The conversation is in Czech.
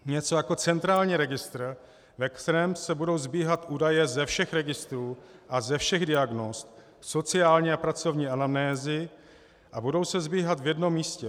Něco jako centrální registr, ve kterém se budou sbíhat údaje ze všech registrů a ze všech diagnóz sociální a pracovní anamnézy a budou se sbíhat v jednom místě.